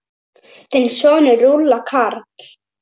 Þinn sonur, Rúnar Karl.